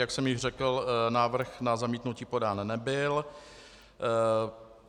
Jak jsem již řekl, návrh na zamítnutí podán nebyl.